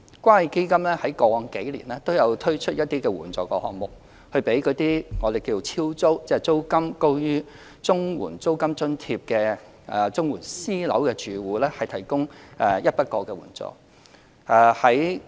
關愛基金在過往數年均有推出一些援助項目，給予所謂"超租"即向租金高於綜援租金津貼最高金額的綜援私樓住戶提供一筆過援助。